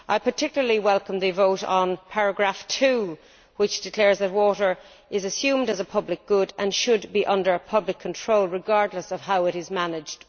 I particularly welcome the vote on paragraph 2, which declares that water is assumed as a public good and should be under public control regardless of how it is managed.